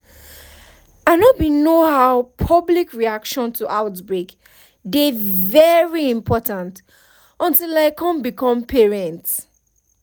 i know bin know how public reaction to outbreak dey very important until i come become parents